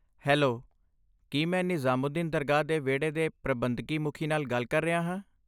Hello, ਕੀ ਮੈਂ ਨਿਜ਼ਾਮੂਦੀਨ ਦਰਗਾਹ ਦੇ ਵਿਹੜੇ ਦੇ ਪ੍ਰਬੰਧਕੀ ਮੁਖੀ ਨਾਲ ਗੱਲ ਕਰ ਰਿਹਾ ਹਾਂ?